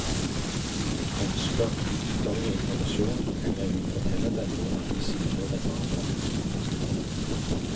Ønsker de ytterligere informasjon, kan jeg jo fortelle dem hvor mange sider den var på.